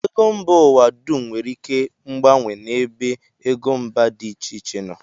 Ego mba ụwa dum nwere ike mgbanwe n'ebe ego mba dị iche iche nọ